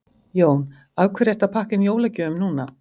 Jón: Af hverju ertu að pakka inn jólagjöfum núna?